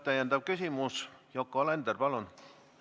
Täpsustav küsimus, Yoko Alender, palun!